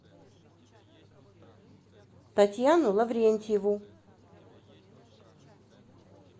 татьяну лаврентьеву